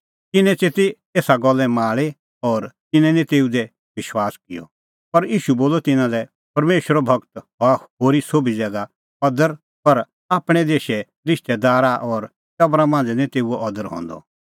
तिन्नैं च़ेती एसा गल्ले माल़ी और तिन्नैं निं तेऊ दी विश्वास किअ पर ईशू बोलअ तिन्नां लै परमेशरे गूरो हआ होरी सोभी ज़ैगा अदर पर आपणैं देशै रिश्तैदारा और टबरा मांझ़ै निं तेऊओ अदर हंदअ